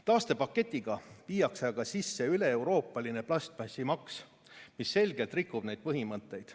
Taastepaketiga viiakse aga sisse üleeuroopaline plastmassimaks, mis selgelt rikub neid põhimõtteid.